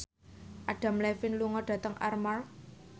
Adam Levine lunga dhateng Armargh